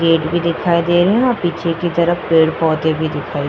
Gate भी दिखाई दे रहे हैं। पीछे की तरफ पेड़ पौधे भी दिखाई --